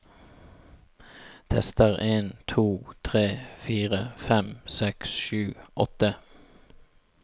Tester en to tre fire fem seks sju åtte